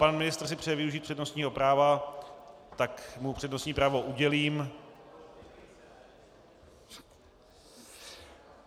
Pan ministr si přeje využít přednostního práva, tak mu přednostní právo udělím.